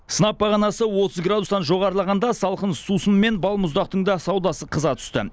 сынап бағанасы отыз градустан жоғарылағанда салқын сусын мен балмұздақтың да саудасы қыза түсті